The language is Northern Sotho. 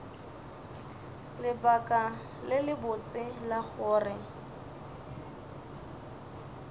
lebaka le lebotse la gore